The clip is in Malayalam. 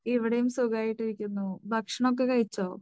ഇവിടെയും സുഖായിട്ടിരിക്കുന്നു. ഭക്ഷണമൊക്കെ കഴിച്ചോ?